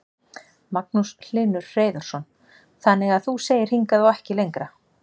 Magnús Hlynur Hreiðarsson: Þannig að þú segir hingað og ekki lengra?